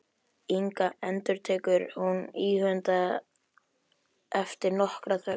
Inga, endurtekur hún íhugandi eftir nokkra þögn.